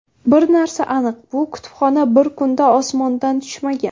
Bir narsa aniq, bu kutubxona bir kunda osmondan tushmagan.